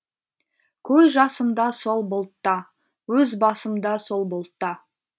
көз жасымда сол бұлтта өз басым да сол бұлтта